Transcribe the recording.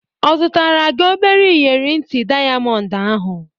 Ọ zụtara gị obere inyeri nti dịayamọnd ahụ?